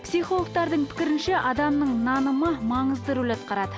психологтардың пікірінше адамның нанымы маңызды роль атқарады